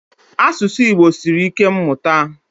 Asụsụ Igbo sịrị ike mmụta.